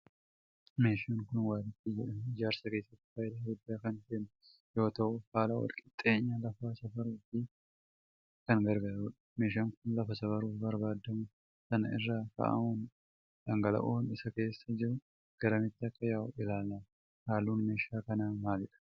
Meeshaan kun waalikkii jedhama. Ijaarsa keessatti faayidaa gudddaa kan kennu yoo ta'u haala walqixxeenya lafaa safaruuf kan gargaarudha. Meeshaan kun lafa safaruuf barbaadamu san irra kaa'amuun dhangala'oon isa keessa jiru garamitti akka yaa'u ilaalama. Halluun meeshaa kanaa maalidha?